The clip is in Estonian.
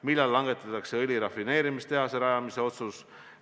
Millal langetatakse õli rafineerimistehase rajamise otsus?